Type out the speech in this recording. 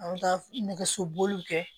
An ka nɛgɛso boliw kɛ